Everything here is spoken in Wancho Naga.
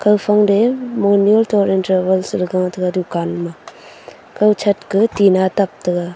kawphang te momyul tour travels ley gataiga dukan ma kaw shat ka tinna tap taiga.